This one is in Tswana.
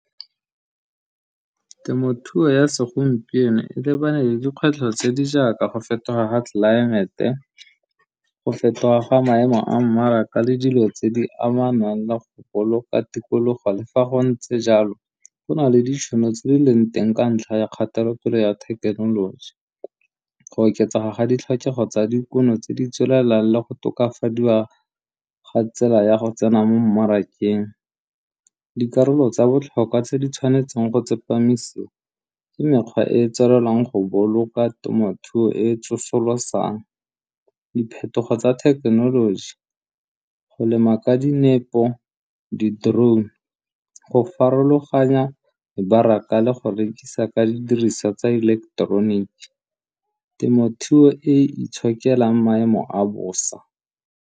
Temothuo ya segompieno e lebane le dikgwetlho tse di jaaka go fetoga ga tlelaemete go fetoga ga maemo a mmaraka le dilo tse di amanang le go boloka tikologo. Le fa go ntse jalo go na le ditšhono tse dileng teng ka ntlha ya kgatelopele ya thekenoloji go oketsega ga ditlhokego tsa dikuno tse di tswelelang le go tokafadiwa ga tsela ya go tsena mo mmarakeng. Dikarolo tsa botlhokwa tse di tshwanetseng go tsepamisa ke mekgwa e e tswelelang go boloka temothuo e tsosolosang. Diphetogo tsa thekenoloji go lema ka dinepo, di-drone, go farologanya mebaraka le go rekisa ka didiriswa tsa ileketeroniki, temothuo e itshokelang maemo a bosa.